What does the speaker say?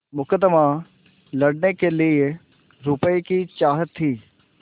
मुकदमा लड़ने के लिए रुपये की चाह थी